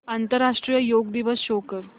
आंतरराष्ट्रीय योग दिवस शो कर